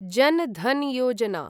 जन् धन् योजना